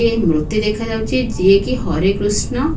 ଏ ମୃର୍ତ୍ତି ଦେଖାଯାଉଛି ଯିଏ କି ହରେକୃଷ୍ଣ --